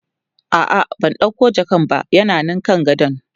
a'a Bata ɗauko jakan ba yana Nan kan gadon